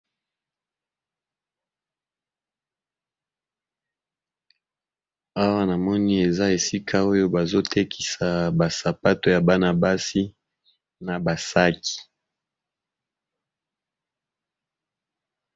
Awa namoni eza esika oyo bazo tekisa ba sapato ya bana basi na ba saki.